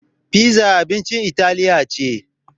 Piza abincin italiya ce.